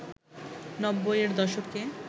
নব্বই এর দশকে